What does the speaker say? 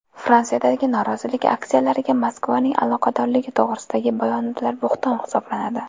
Fransiyadagi norozilik aksiyalariga Moskvaning aloqadorligi to‘g‘risidagi bayonotlar bo‘hton hisoblanadi.